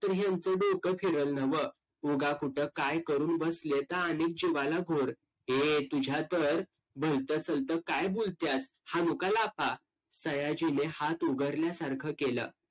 असं नक्की होईलच का Bank त जाऊन करायचं की कसं .